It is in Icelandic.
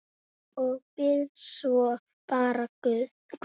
Og bið svo bara guð.